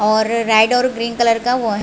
और रेड और green colour का वो है।